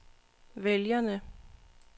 vælgerne